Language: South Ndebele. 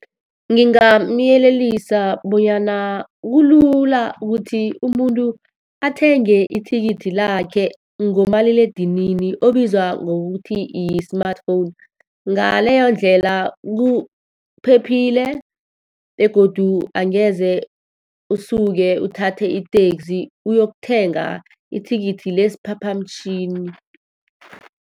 Ngingamyelelisa bonyana kulula ukuthi umuntu athenge ithikithi lakhe ngomaliledinini obizwa ngokuthi yi-smartphone. Ngaleyo ndlela kuphephile, begodu angeze usuke uthathe i-taxi uyokuthenga ithikithi lesiphaphamtjhini.